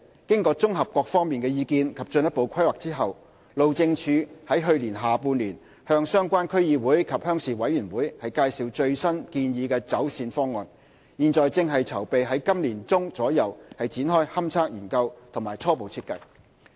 經綜合各方意見及進一步規劃後，路政署於去年下半年向相關區議會及鄉事委員會介紹最新建議走線方案，現正籌備於今年年中左右展開勘測研究及初步設計。